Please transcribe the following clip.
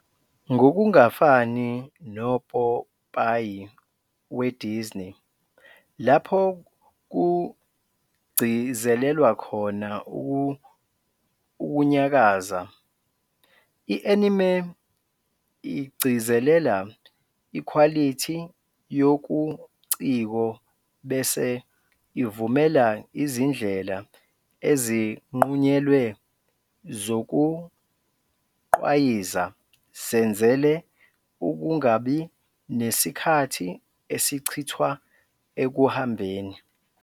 Ngokungafani nopopayi weDisney, lapho kugcizelelwa khona ukunyakaza, i-anime igcizelela ikhwalithi yobuciko bese ivumela izindlela ezinqunyelwe zokugqwayiza zenzele ukungabi nesikhathi esichithwa ekuhambeni.